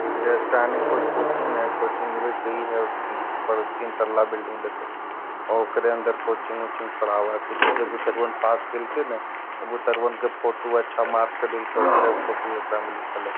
जे स्टैनिक कोई कोचिंग है कोचिंग के वे ह ब तीन तल्ला बिल्डिंग है देखो ओकरे अंदर कोचिंग - उचिंग पढ़ाव है जे जे बुतरवन पास कैल खिन ह वे बुतरवन के फोटू अच्छा मार्क्स लइखिन ओकरे फोटू एकरा में लिखल ह।